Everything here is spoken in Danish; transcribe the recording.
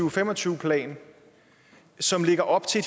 og fem og tyve plan som lægger op til